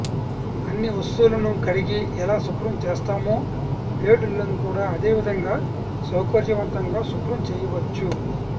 అన్ని వస్తువులను కడిగి ఎలా శుభ్రం చేస్తామో బ్లేడ్ లను కూడా అదే విధంగా సౌకర్యవంతంగా శుభ్రం చేయవచ్చు